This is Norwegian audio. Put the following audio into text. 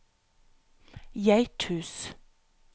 Geithus